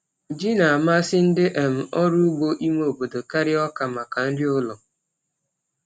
Ji n'amasị ndị um ọrụ ugbo ime obodo karịa ọka maka nri ụlọ.